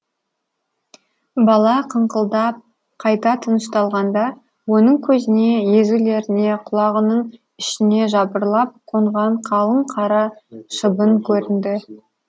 бала қыңқылдап қайта тынышталғанда оның көзіне езулеріне құлағының ішіне жапырлап қонған қалың қара шыбын көрінді